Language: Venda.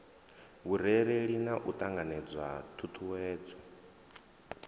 vhurereli na u ṱanganedza ṱhuṱhuwedzo